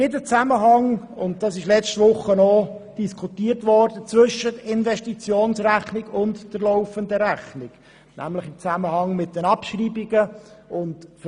Die Abschreibungen stellen das Bindeglied zwischen der Investitionsrechnung und der laufenden Rechnung dar.